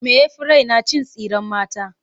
Me ya fi raina? Cin tsiren mata.